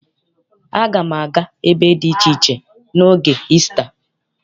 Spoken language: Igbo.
Aga m aga ebe dị iche iche n'oge Isita.